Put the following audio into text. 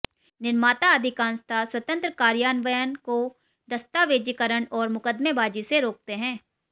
निर्माता अधिकांशतः स्वतंत्र कार्यान्वयन को दस्तावेज़ीकरण और मुकदमेबाजी से रोकते हैं